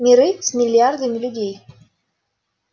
миры с миллиардами людей